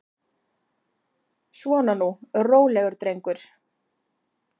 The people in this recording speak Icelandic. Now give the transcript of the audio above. Svona nú, rólegur drengur.